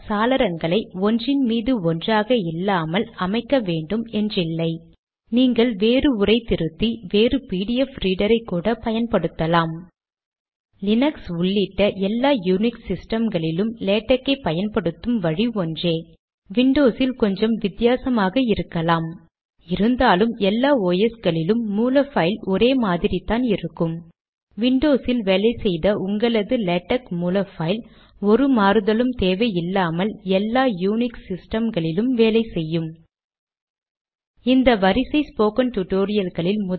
ஏனென்றால் ஒவ்வொரு கம்பைலேஷனுக்கு பின்பும் அது தானாகவே சமீபத்திய பிடிஎஃப் பைலை ஏற்றிக்கொள்கிறது இத்திறன் கொண்ட பிடிஎஃப் ப்ரௌசர் லினக்ஸ் மற்றும் விண்டோஸிலும் உள்ளன சோர்ஸ் பைலை ஆராய்ந்து ஒவ்வொரு கட்டளையும் பார்ப்போம்